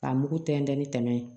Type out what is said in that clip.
K'a mugu tɛntɛn ni tɛmɛ ye